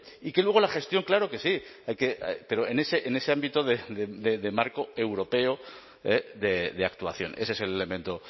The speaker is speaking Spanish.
y que luego la gestión claro que sí pero en ese ámbito de marco europeo de actuación ese es el elemento